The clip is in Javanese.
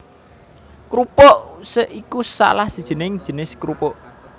Krupuk usek iku salah sijining jinis krupuk